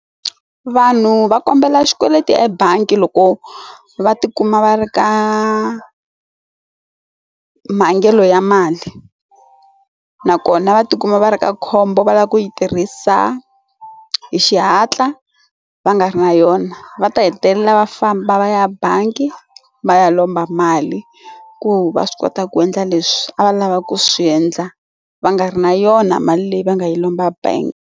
Vanhu va kombela xikweleti ebangi loko va tikuma va ri ka mhangelo ya mali nakona va tikuma va ri ka khombo va lava ku yi tirhisa hi xihatla va nga ri na yona va ta hetelela va famba va ya bangi va ya lomba mali ku va swi kota ku endla leswi a va lava ku swiendla va nga ri na yona mali leyi va nga yi lomba bank.